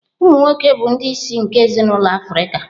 Umụ nwoke bụ ndị isi nke ezinụlọ Africa